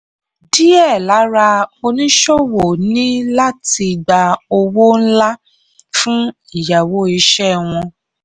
díẹ̀ lara oníṣòwò ní láti gbà owó ńlá fún ìyáwó iṣẹ́ wọn.